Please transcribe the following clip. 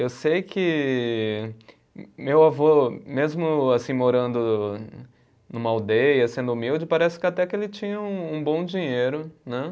Eu sei que meu avô, mesmo assim morando numa aldeia, sendo humilde, parece que até que ele tinha um um bom dinheiro, né?